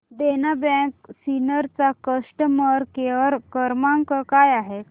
देना bank Sinnar चा customer care क्रमांक काय आहे